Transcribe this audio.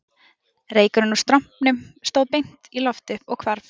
Reykurinn úr strompunum stóð beint í loft upp og hvarf